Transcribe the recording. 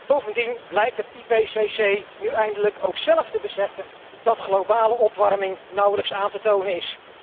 Bovendien blijkt het IPCC nu eindelijk ook zelf te beseffen dat globale opwarming nauwelijks aan te tonen is.